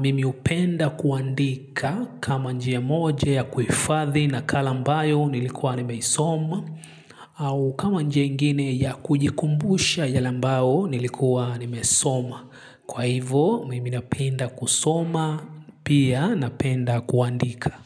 Mimi hupenda kuandika kama njia moja ya kuhufadhi nakala ambayo nilikuwa nimeisoma au kama njia ingine ya kujikumbusha yale ambayo nilikuwa nimesoma. Kwa hivyo mimi napenda kusoma pia napenda kuandika.